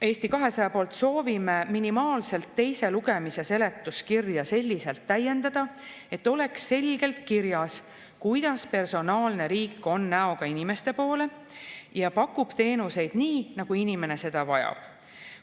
Eesti 200 poolt soovime minimaalselt teise lugemise seletuskirja selliselt täiendada, et oleks selgelt kirjas, kuidas personaalne riik on näoga inimeste poole ja pakub teenuseid nii, nagu inimene neid vajab.